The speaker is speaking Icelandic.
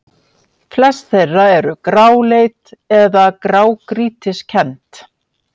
Flest þeirra eru gráleit eða grágrýtiskennd.